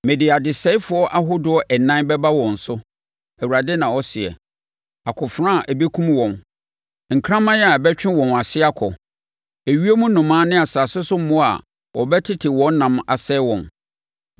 “Mede adesɛefoɔ ahodoɔ ɛnan bɛba wɔn so,” Awurade na ɔseɛ: “akofena a ɛbɛkum wɔn, nkraman a ɛbɛtwe wɔn ase akɔ, ewiem nnomaa ne asase so mmoa a wɔbɛtete wɔn nam asɛe wɔn.